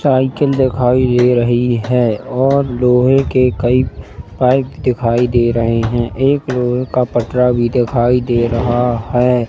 Cycle दिखाई दे रही है और लोहे के कही पाइप दिखाई दे रहे है। एक लोहे का पटरा भी दिखाई दे रहा है।